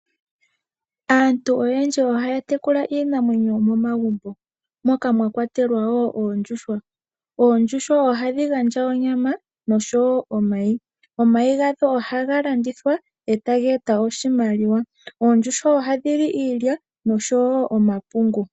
Aantu oyendji ohaya tekula iinamwenyo yomomagumbo moka mwa kwatelwa wo oondjuhwa. Oondjuhwa ohadhi gandja onyama nosho wo omayi. Omayi gadho ohaga landithwa e ta ga e ta oshimaliwa. Oondjuhwa ohadhi li iilya nosho wo omapungu.